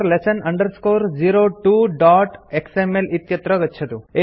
basic lesson 02xml इत्यत्र गच्छतु